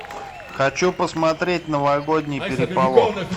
хочу посмотреть новогодний переполох